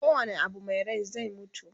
ko wane Abu Mai Rai zai mutu